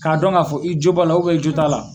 K'a dɔn k'a fɔ i jo b'a la i jo t'a la.